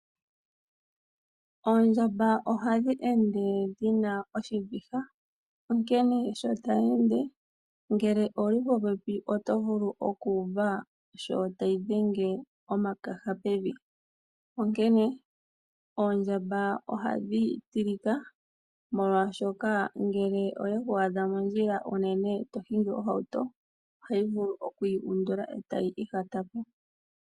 Oondjamba ohadhi ende dhi na oshiviha, onkene sho tayi ende ngele owu li popepi oto vulu okuuva sho tayi dhenge omatende pevi. Onkene oondjamba ohadhi tilika, molwaashoka ngele oyeku adha unene mondjila to hingi ohauto, ohayi vulu okuyi undula e tayi ihata pevi.